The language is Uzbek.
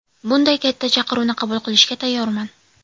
Bunday katta chaqiruvni qabul qilishga tayyorman.